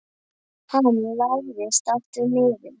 Hann lagðist aftur niður.